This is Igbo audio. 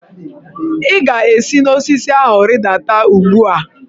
Ị ga-esi n'osisi ahụ rịdata ugbu a!